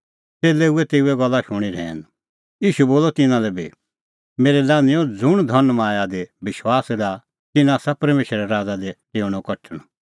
च़ेल्लै हुऐ तेऊए गल्ला शूणीं रहैन ईशू बोलअ तिन्नां लै बी मेरै लान्हैंओ ज़ुंण धनमाया दी विश्वास डाहा तिन्नां आसा परमेशरे राज़ा दी डेऊणअ कठण